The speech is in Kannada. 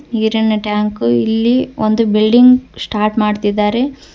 ನೀರಿನ ಟ್ಯಾಂಕ್ ಇಲ್ಲಿ ಒಂದು ಬಿಲ್ಡಿಂಗ್ ಸ್ಟಾರ್ಟ್ ಮಾಡುತ್ತಿದ್ದಾರೆ.